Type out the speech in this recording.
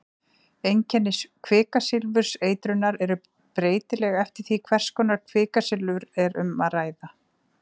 einkenni kvikasilfurseitrunar eru breytileg eftir því hvers konar kvikasilfur er um að ræða